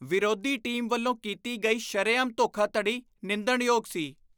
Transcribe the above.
ਵਿਰੋਧੀ ਟੀਮ ਵੱਲੋਂ ਕੀਤੀ ਗਈ ਸ਼ਰੇਆਮ ਧੋਖਾਧੜੀ ਨਿੰਦਣਯੋਗ ਸੀ।